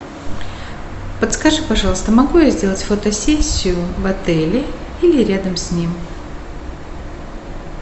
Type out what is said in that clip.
подскажи пожалуйста могу я сделать фотосессию в отеле или рядом с ним